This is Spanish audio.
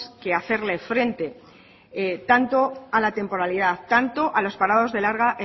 que hacerle frente tanto a la temporalidad tanto a los parados de larga